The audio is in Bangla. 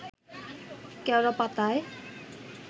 কেওড়া পাতায়